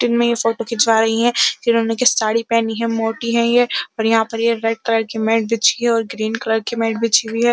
जिनमें यह फोटो खिचवा रही हैं। जिन्हों ने की साड़ी पहनी है। मोटी है ये और यहाँ पर यह रेड कलर की मेट बिछी हुई है और ग्रीन कलर की मेट बिछी हुई है।